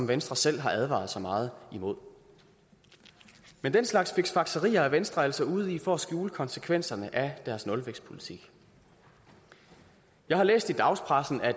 venstre selv har advaret så meget imod men den slags fiksfakserier er venstre altså ude i for at skjule konsekvenserne af deres nulvækstpolitik jeg har læst i dagspressen at